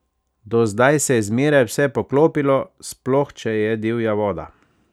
Do zdaj se je zmeraj vse poklopilo, sploh če je divja voda.